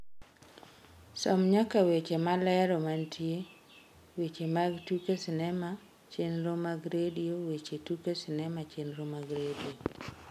som nyaka weche malero mantie weche mag tuke sinema chenro mag redio weche tuke sinema chenro mag redio